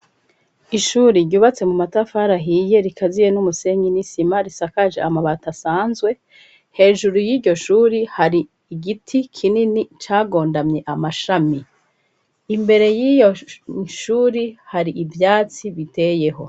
Ishuri ryubatse mu matafari ahiye rikaziye n'umusenyi n'isima risakaje amabati asanzwe, hejuru y'iryo shuri hari igiti kinini cagondamye amashami, imbere y'iryo shuri hari ivyatsi biteyeho.